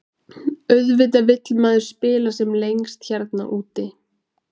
Auðvitað vill maður spila sem lengst hérna úti.